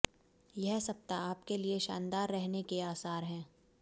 यह सप्ताह आपके लिए शानदार रहने के आसार हैं